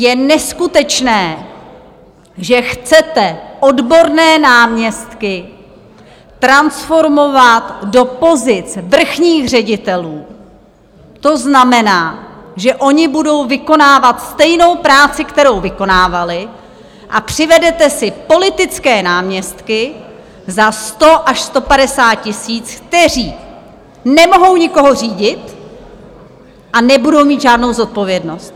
Je neskutečné, že chcete odborné náměstky transformovat do pozic vrchních ředitelů, to znamená, že oni budou vykonávat stejnou práci, kterou vykonávali, a přivedete si politické náměstky za 100 až 150 tisíc, kteří nemohou nikoho řídit a nebudou mít žádnou zodpovědnost.